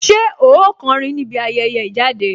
Ṣé ó kọrin níbi ayẹyẹ ìjáde